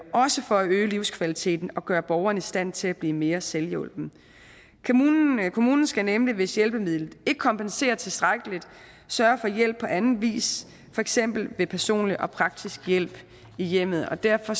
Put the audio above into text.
også for at øge livskvaliteten og gøre borgeren i stand til at blive mere selvhjulpen kommunen skal nemlig hvis hjælpemidlet ikke kompenserer tilstrækkeligt sørge for hjælp på anden vis for eksempel ved personlig og praktisk hjælp i hjemmet og derfor